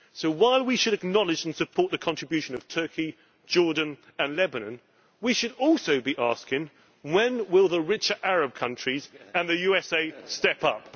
So while we should acknowledge and support the contribution of Turkey, Jordan and Lebanon, we should also be asking when the richer Arab countries and the USA will step up.